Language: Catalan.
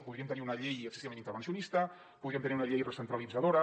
podríem tenir una llei excessivament intervencionista podríem tenir una llei recentralitzadora